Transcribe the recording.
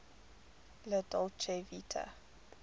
la dolce vita